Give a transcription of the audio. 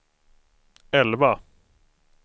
elva